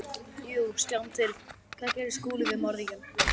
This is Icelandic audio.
Jú, sjáum til: Hvað gerði Skúli við morðingjann?